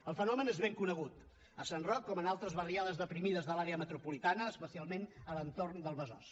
el fenomen és ben conegut a sant roc com en altres barriades deprimides de l’àrea metropolitana especialment a l’entorn del besòs